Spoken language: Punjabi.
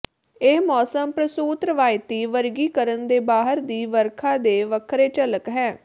ਇਹ ਮੌਸਮ ਪ੍ਸੂਤ ਰਵਾਇਤੀ ਵਰਗੀਕਰਣ ਦੇ ਬਾਹਰ ਦੀ ਵਰਖਾ ਦੇ ਵੱਖਰੇ ਝਲਕ ਹੈ